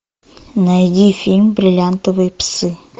найди фильм бриллиантовые псы